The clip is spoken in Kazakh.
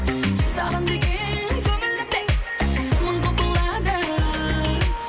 саған деген көңілім де мың құбылады